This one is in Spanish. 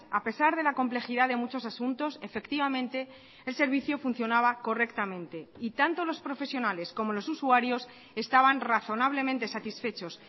a pesar de la complejidad de muchos asuntos efectivamente el servicio funcionaba correctamente y tanto los profesionales como los usuarios estaban razonablemente satisfechos